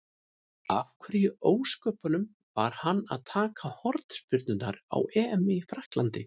Af hverju í ósköpunum var hann að taka hornspyrnurnar á EM í Frakklandi?